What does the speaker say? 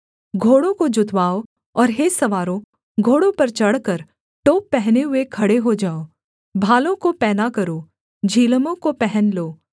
घोड़ों को जुतवाओ और हे सवारों घोड़ों पर चढ़कर टोप पहने हुए खड़े हो जाओ भालों को पैना करो झिलमों को पहन लो